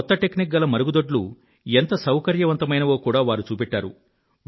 ఈ కొత్త టెక్నిక్ గల మరుగుదొడ్లు ఎంత సౌకర్యవంతమైనవో కూడా వారు చూపెట్టారు